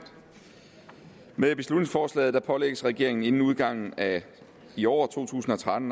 med beslutningsforslaget pålægges regeringen inden udgangen af i år to tusind og tretten